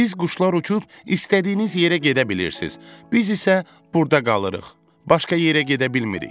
Siz quşlar uçub istədiyiniz yerə gedə bilirsiz, biz isə burda qalırıq, başqa yerə gedə bilmirik.